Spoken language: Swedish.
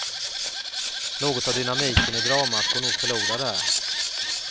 Något av dynamiken i dramat går nog förlorad där.